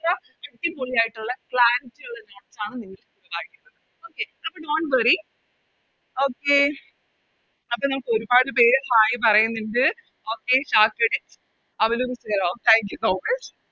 അടിപൊളിയായിട്ടോളെ Okay അപ്പൊ Dont worry അപ്പൊ നമുക്കൊരുപാട് പേര് Hai പറയിന്നിണ്ട് Okay ഒര് Thankyou